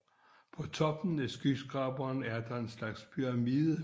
På toppen af skyskraberen er der en slags pyramide